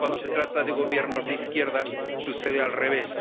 cuando se trata de gobiernos de izquierdas, sucede al revés.